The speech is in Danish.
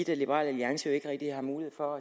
liberal alliance jo ikke rigtig har mulighed for